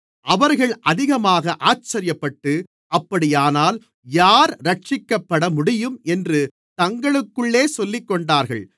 அவர்கள் அதிகமாக ஆச்சரியப்பட்டு அப்படியானால் யார் இரட்சிக்கப்படமுடியும் என்று தங்களுக்குள்ளே சொல்லிக்கொண்டார்கள்